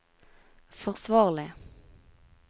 forsvarlig